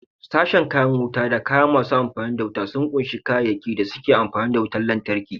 Sashen kayan wuta da kaya masu amfani da wuta sun kunshi kayayyakin da suke amfani da wutar lantarki.